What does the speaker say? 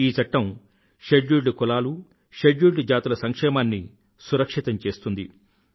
ఈ చట్టం షడ్యూల్డ్ తెగల షడ్యూల్డ్ జాతుల సంక్షేమాన్ని సురక్షితం చేస్తుంది